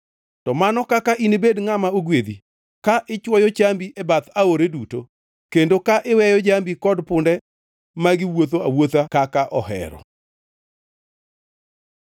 to mano kaka inibed ngʼama ogwedhi, ka ichwoyo chambi e bath aore duto, kendo ka iweyo jambi kod punde magi wuotho awuotha kaka ohero.